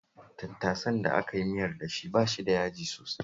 Tattasan da aka yi miyar da shi ba shi da yaji sosai